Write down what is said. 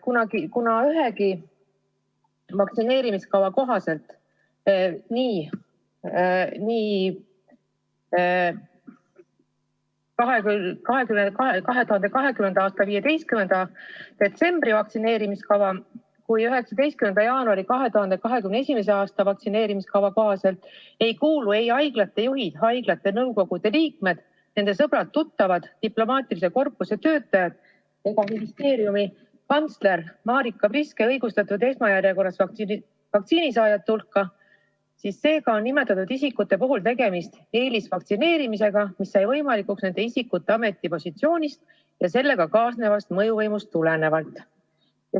Kuna ühegi vaktsineerimiskava kohaselt –ei 2020. aasta 15. detsembri ega ka 2021. aasta 19. jaanuari vaktsineerimiskava kohaselt – ei kuulu haiglate juhid, haiglate nõukogude liikmed, nende sõbrad-tuttavad, diplomaatilise korpuse töötajad ega ministeeriumi kantsler Marika Priske nende hulka, kes on õigustatud saama vaktsiini esmajärjekorras, on nimetatud isikute puhul tegemist eelisvaktsineerimisega, mis sai võimalikuks nende isikute ametipositsioonist ja sellega kaasnevast mõjuvõimust tulenevalt.